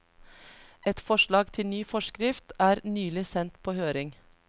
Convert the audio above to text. Et forslag til ny forskrift er nylig sendt på høring.